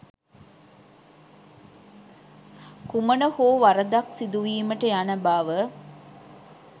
කුමන හෝ වරදක් සිදුවීමට යන බව.